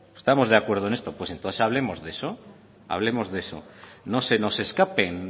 estamos de acuerdo en eso pues entonces hablemos de eso no se nos escapen